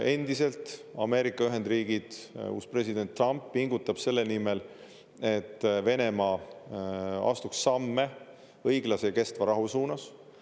Endiselt Ameerika Ühendriigid, uus president Trump pingutab selle nimel, et Venemaa astuks samme õiglase ja kestva rahu suunas.